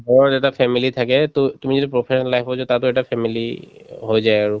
ঘৰত এটা family থাকে to তুমি যদি professional life ত যদি তাতো এটা family হৈ যায় আৰু